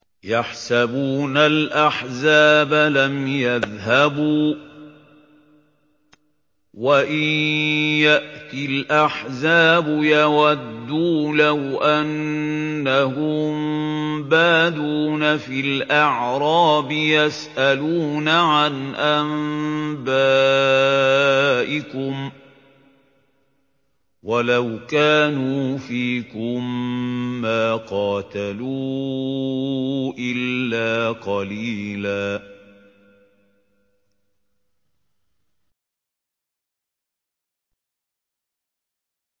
يَحْسَبُونَ الْأَحْزَابَ لَمْ يَذْهَبُوا ۖ وَإِن يَأْتِ الْأَحْزَابُ يَوَدُّوا لَوْ أَنَّهُم بَادُونَ فِي الْأَعْرَابِ يَسْأَلُونَ عَنْ أَنبَائِكُمْ ۖ وَلَوْ كَانُوا فِيكُم مَّا قَاتَلُوا إِلَّا قَلِيلًا